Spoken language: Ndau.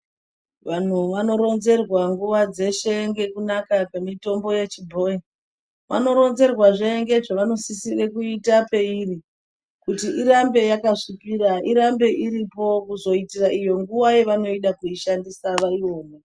Vanhu vanoronzerwa nguwa dzeshe ngekunaka kwemitombo yechibhoyi, vanoronzerwazve ngezvevanosisire kuita peiri kuti irambe yakasvikira, irambe iripo kuzoitira iyo nguva yavanoida kuishandisa vaione.